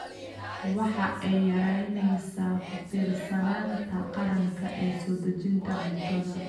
Waxa ay yaraynaysaa ku tiirsanaanta qaranka ee soo dejinta cuntada.